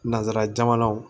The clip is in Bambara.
Nansarajamanaw